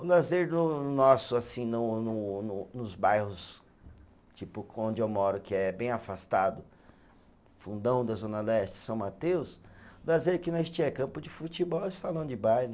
O lazer do nosso assim, no no no nos bairros tipo onde eu moro, que é bem afastado, fundão da Zona Leste, São Mateus, o lazer que nós tinha é campo de futebol e salão de baile.